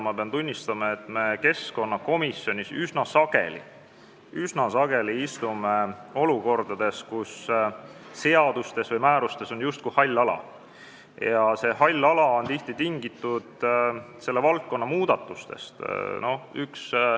Ma pean tunnistama, et me keskkonnakomisjonis oleme üsna sageli olukorras, kus seadustes või määrustes on justkui hall ala, mis on tihti tingitud selles valdkonnas tehtud muudatustest.